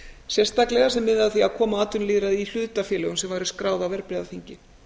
sérstaklega sem miðaði að því að koma á atvinnulýðræði í hlutafélögum sem væru skráð á verðbréfaþingi